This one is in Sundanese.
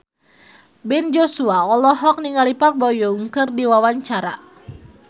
Ben Joshua olohok ningali Park Bo Yung keur diwawancara